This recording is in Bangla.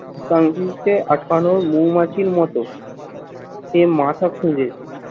প্রাণীকে আটকানোর মৌমাছির মতো সে মাথা খুঁজেছে।